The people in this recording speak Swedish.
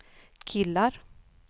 killar